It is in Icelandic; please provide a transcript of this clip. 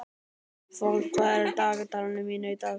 Fold, hvað er á dagatalinu mínu í dag?